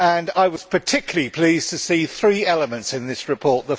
I was particularly pleased to see three elements in this report.